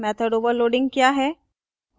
method overloading क्या है